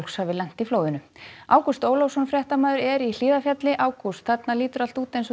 hafi lent í flóðinu Ágúst Ólafsson fréttamaður er í Hlíðarfjalli ágúst þarna lítur allt út eins og